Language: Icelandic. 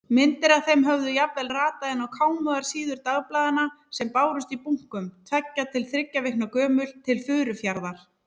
Myndir af þeim höfðu jafnvel ratað inn á kámugar síður dagblaðanna sem bárust í bunkum, tveggja til þriggja vikna gömul, til Furufjarðar.